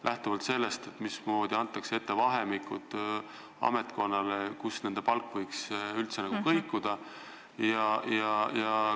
Mismoodi antakse ametkonnale ette vahemikud, mis ulatuses nende palgad võiksid üldse kõikuda?